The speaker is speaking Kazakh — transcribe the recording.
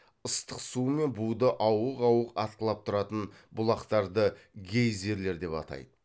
ыстық су мен буды ауық ауық атқылап тұратын бұлақтарды гейзерлер деп атайды